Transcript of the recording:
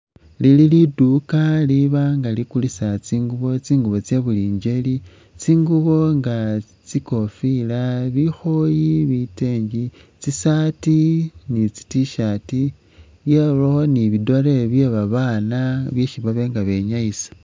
Lili liduka liba nga likulisa tsingubo tsingubo tsabuli ngeli, tsingubo nga tsikofila, bikhoyi, biteenge, tsi shirt ni tsi t-shirt byabawo ni bi dolle bye babana byesi baba nga benyayisa.